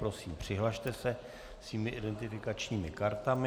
Prosím, přihlaste se svými identifikačními kartami.